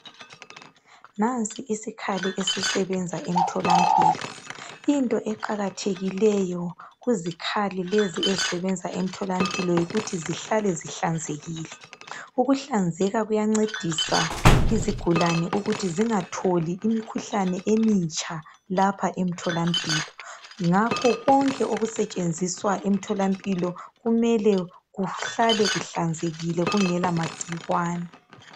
Nansi isikhali esisebenza emtholampilo into eqakathekileyo kuzikhali lezi ezisebenza emtholampilo yikuthi zihlale zihlanzekile ukuhlanzeka kuyancedisa izigulane ukuthi zingatholi imikhuhlane emitsha lapha emtholampilo ngakho konke okusetshenziswa emtholampilo kumele kuhlale kuhlanzekile kungela magcikwane.